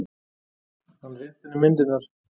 Hann rétti henni myndirnar.